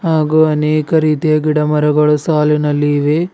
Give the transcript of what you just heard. ಹಾಗೂ ಅನೇಕ ರೀತಿಯ ಗಿಡಮರಗಳು ಸಾಲಿನಲ್ಲಿ ಇವೆ.